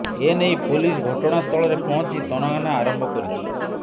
ଏ ନେଇ ପୋଲିସ ଘଟଣାସ୍ଥଳରେ ପହଞ୍ଚି ତନାଘନା ଆରମ୍ଭ କରିଛି